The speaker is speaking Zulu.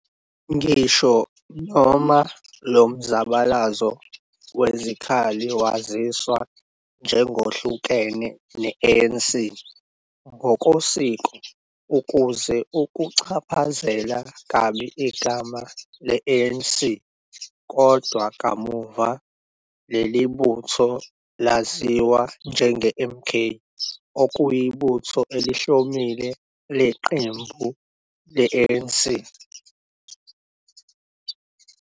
Ngisho noma lo mzabalazo wezikhali waziswa njengohlukene ne-ANC ngokosiko, ukuze ukuchaphazeli kabi igama le-ANC, kodwa kamuva leli butho laziwa njenge-MK okuyibutho elihlomile leqembu le-ANC.